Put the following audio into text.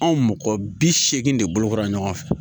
Anw mɔgɔ bi segin de bolokora ɲɔgɔn fɛ